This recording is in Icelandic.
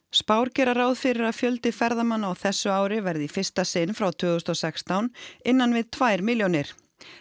spár gera ráð fyrir að fjöldi ferðamanna á þessu ári verði í fyrsta sinn frá tvö þúsund og sextán innan við tvær milljónir